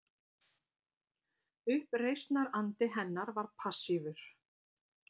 Uppreisnarandi hennar var passífur